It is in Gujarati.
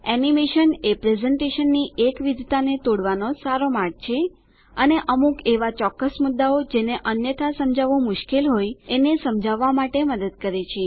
એનીમેશન એ પ્રેઝેંટેશનની એકવિધતાને તોડવાનો સારો માર્ગ છે અને અમુક એવાં ચોક્કસ મુદ્દાઓ જેને અન્યથા સમજાવવું મુશ્કેલ હોય એને સમજાવવા માટે મદદ કરે છે